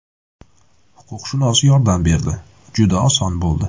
Huquqshunos yordam berdi, juda oson bo‘ldi.